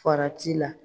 Farati la